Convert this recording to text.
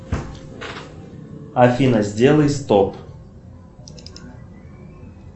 афина сделай стоп